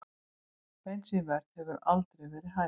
Bensínverð hefur aldrei verið hærra